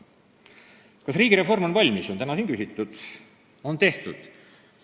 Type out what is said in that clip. Kas riigireform on valmis, on tehtud, on täna siin küsitud.